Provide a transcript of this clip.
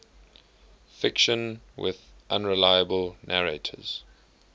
fiction with unreliable narrators